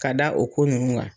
Ka da o ko nunnu ga